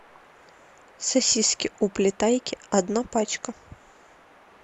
сосиски уплетайки одна пачка